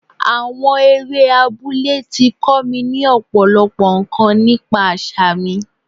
Àwọn eré abúlé tí kọ́ mi ní Ọ̀pọ̀lọ́pọ̀ ǹkan nípa àṣà mi.